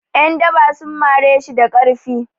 'Yandaba sun mari shi da ƙarfi.